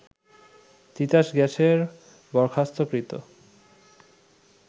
তিতাস গ্যাসের বরখাস্তকৃত